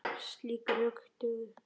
Slík rök dugðu.